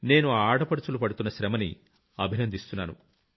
నేను ఆ ఆడపడుచులు పడుతున్న శ్రమని అభినందిస్తున్నాను